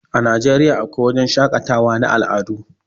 A Nigeriya a kwai wajan shaƙatawan na al'adu